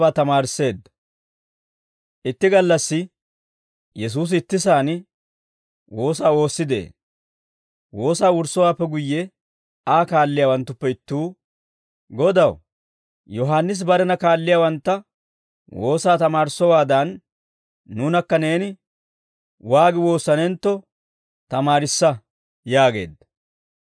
Itti gallassi Yesuusi ittisaan woosaa woossi de'ee. Woosaa wurssowaappe guyye Aa kaalliyaawanttuppe ittuu, «Godaw! Yohaannisi barena kaalliyaawantta woosaa tamaarissowaadan, nuunakka neeni waagi woossanentto tamaarissa» yaageedda.